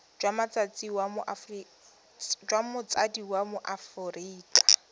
jwa motsadi wa mo aforika